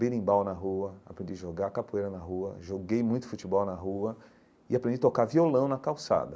berimbau na rua, aprendi jogar capoeira na rua, joguei muito futebol na rua e aprendi tocar violão na calçada.